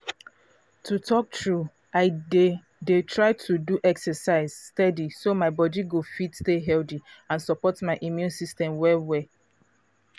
to talk true i dey dey try do exercise steady so my body go fit stay healthy and support my immune system well well